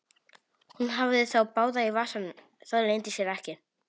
Hún hafði þá báða í vasanum, það leyndi sér ekki.